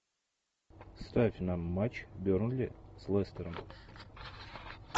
ставь нам матч бернли с лестером